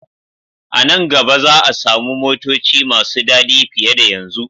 A nan gaba za a samu motoci masu dadi fiye da yanzu.